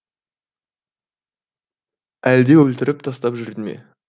әлде өлтіріп тастап жүрді ме